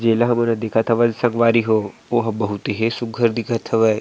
जेला हमन देखत हवन संगवारी हो वो ह बहुत हे सुग्घर दिखत हवय--